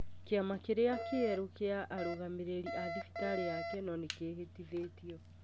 Kĩama kĩrĩa kĩerũ kĩa arũgamĩrĩri a thibitarĩ ya kenol nĩ kĩhĩtithĩtio.